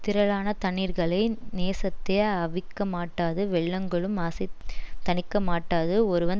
திரளான தண்ணீர்களை நேசத்தே அவிக்கமாட்டாது வெள்ளங்களும் அசைத் தணிக்கமாட்டாது ஒருவன்